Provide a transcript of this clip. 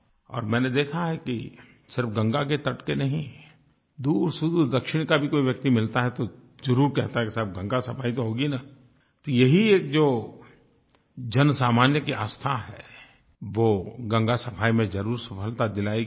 और मैंने देखा है कि सिर्फ़ गंगा के तट के नहीं दूरसुदूर दक्षिण का भी कोई व्यक्ति मिलता है तो ज़रूर कहता है कि साहब गंगा सफ़ाई तो होगी न तो यही एक जो जनसामान्य की आस्था है वो गंगा सफ़ाई में ज़रूर सफलता दिलाएगी